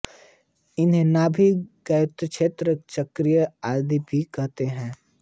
इसे नाभि गयाक्षेत्र चक्रक्षेत्र आदि भी कहते हैं